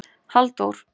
Halldór